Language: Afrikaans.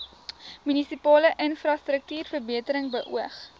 munisipale infrastruktuurverbetering beoog